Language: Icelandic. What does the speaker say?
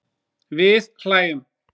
Við hlæjum.